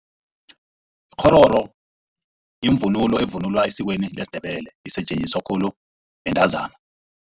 Ikghororo yivunulo evunulwa esikweni lesiNdebele. Isetjenziswa khulu bantazana.